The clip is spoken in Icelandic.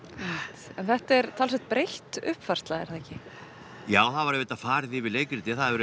þetta er talsvert breytt uppfærsla er það ekki já það var auðvitað farið yfir leikritið það hefur